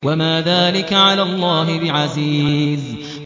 وَمَا ذَٰلِكَ عَلَى اللَّهِ بِعَزِيزٍ